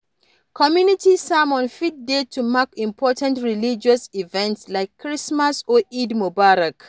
Community sermon fit dey to mark important religious events like Christmas or Eid Mubarak